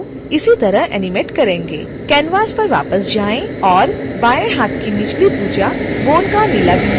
canvas पर वापस जाएं और बाएँ हाथ की निचली भुजा bone का नीला बिंदु चुनें